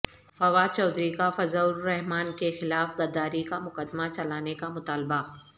فواد چودھری کا فضل الرحمان کے خلاف غداری کا مقدمہ چلانے کا مطالبہ